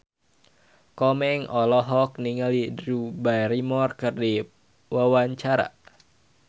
Komeng olohok ningali Drew Barrymore keur diwawancara